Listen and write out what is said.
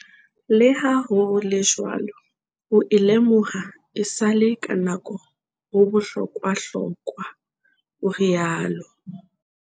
"Le ha ho le jwalo, ho e lemoha esale ka nako ho bohlokwahlokwa," o riaolo.